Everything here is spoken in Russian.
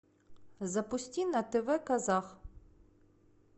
запусти на тв казах